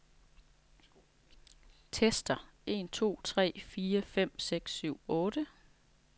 Tester en to tre fire fem seks syv otte.